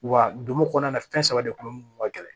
Wa dugu kɔnɔna na fɛn saba de kun bɛ minnu ka gɛlɛn